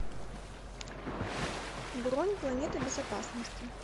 бронь планета безопасности